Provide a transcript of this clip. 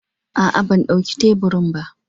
A'a, ban ɗauki teburin ba.